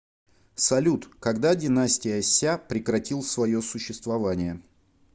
салют когда династия ся прекратил свое существование